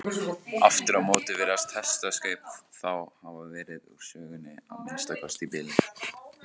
Aftur á móti virðast hestakaup þá hafa verið úr sögunni, að minnsta kosti í bili.